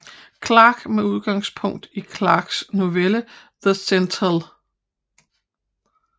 Clarke med udgangspunkt i Clarkes novelle The Sentinel